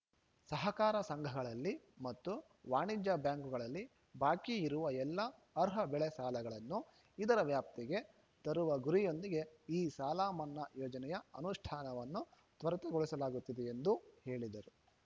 ಸಹಕಾರ ಸಂಘಗಳಲ್ಲಿ ಮತ್ತು ವಾಣಿಜ್ಯ ಬ್ಯಾಂಕುಗಳಲ್ಲಿ ಬಾಕಿ ಇರುವ ಎಲ್ಲ ಅರ್ಹ ಬೆಳೆ ಸಾಲಗಳನ್ನು ಇದರ ವ್ಯಾಪ್ತಿಗೆ ತರುವ ಗುರಿಯೊಂದಿಗೆ ಈ ಸಾಲಮನ್ನಾ ಯೋಜನೆಯ ಅನುಷ್ಠಾನವನ್ನು ತ್ವರಿತಗೊಳಿಸಲಾಗುತ್ತಿದೆ ಎಂದು ಹೇಳಿದರು